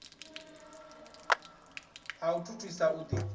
ha u thuthisa u ḓi